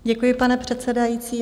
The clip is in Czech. Děkuji, pane předsedající.